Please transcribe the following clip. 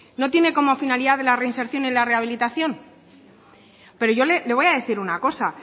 no tiene como finalidad la reinserción y la rehabilitación pero yo le voy a decir una cosa